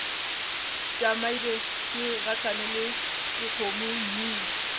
tšamile ke gahlana le dikgomommuu